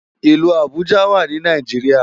Ilù Abuja wá ni Náijiriá